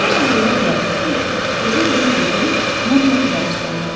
Sonra ağlıma gəldi ki, gəzə-gəzə gedim Monmart qəbirstanlığına.